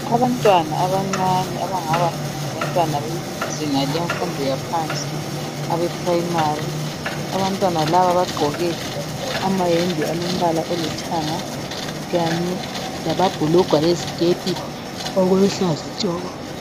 Abantwana abancane abangaba ngabantwana bezinga lemfundo yaphansi abe primary. Abantwana laba bagqoke amayembe alombala olithanga kanye lamabhulugwe leziketi okuluhlaza tshoko.